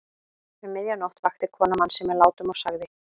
Um miðja nótt vakti konan mann sinn með látum og sagði